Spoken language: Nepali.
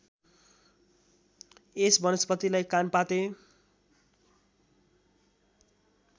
यस वनस्पतिलाई कानपाते